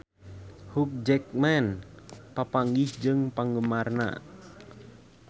Hugh Jackman papanggih jeung penggemarna